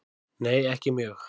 Nei ekki mjög.